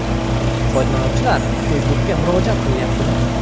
Foydalanuvchilar Facebook’ga murojaat qilyapti.